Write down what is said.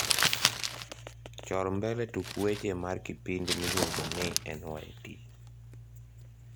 chor mbele tuk weche mar kipindi miluongo ni nyt